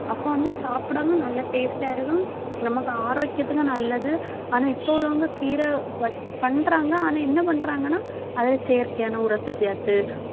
அப்போ வந்து சாப்பிடவும் நல்லா taste ஆ இருக்கும். நமக்கு ஆரோக்கியத்துக்கும் நல்லது ஆனா இப்போ உள்ளவங்க கீரை வை~ பண்றாங்க. ஆனா என்ன பண்றாங்கன்னா அதில செயற்கையான உரத்தை சேர்த்து